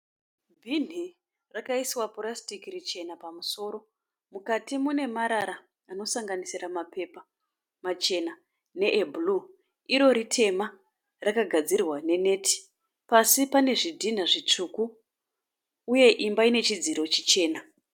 Bhinhi rakaiswa purasitiki richena pamusoro. Mukati mune marara anosanganisira mapepa machena neebhuruu. Iro itema rakagadzirwa ne neti. Pasi pane zvidhinha zvitsvuku uye imba ine chidziro chichena.